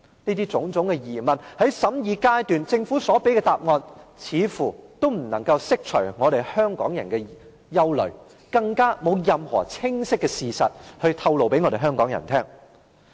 這種種疑問，在審議階段政府所給予的答案，似乎都不能釋除香港人的疑慮，更沒有任何清晰的事實向香港人透露。